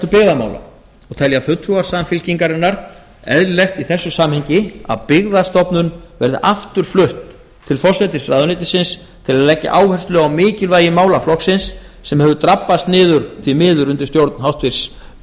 byggðamála og telja fulltrúar samfylkingarinnar eðlilegt í þessu samhengi að byggðastofnun verði aftur flutt til forsætisráðuneytisins til að leggja áherslu á mikilvægi málaflokksins sem hefur drabbast niður því miður undir stjórn hæstvirtur